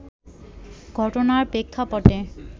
ঘটনার প্রেক্ষাপটে